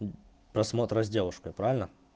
просмотра с девушкой правильно